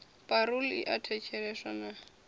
parole i a thetsheleswa na